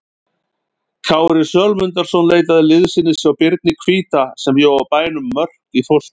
Kári Sölmundarson leitaði liðsinnis hjá Birni hvíta sem bjó á bænum Mörk í Þórsmörk.